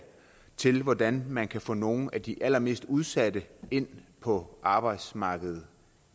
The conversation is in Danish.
til hvordan man kan få nogle af de allermest udsatte ind på arbejdsmarkedet